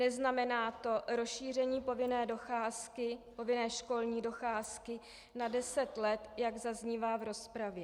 Neznamená to rozšíření povinné docházky, povinné školní docházky na deset let, jak zaznívá v rozpravě.